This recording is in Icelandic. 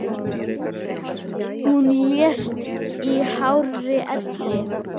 Hún lést í hárri elli.